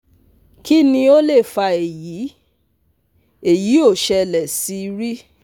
Kini o le fa eyi? Eyi o sele si ri